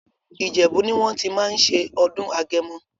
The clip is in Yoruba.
Ìjẹ̀bú ni wọ́n ti máa ń ṣe ọdún Agẹmọ.